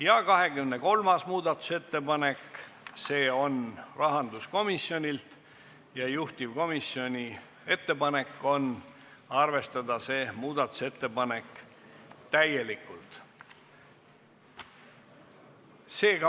Ja 23. muudatusettepanek, see on rahanduskomisjonilt ja juhtivkomisjoni ettepanek on arvestada seda täielikult.